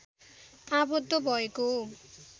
आवद्ध भएको हो